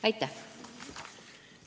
Aitäh!